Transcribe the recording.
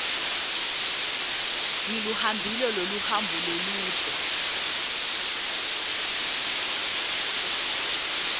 ngiluhambile loluhambo loludze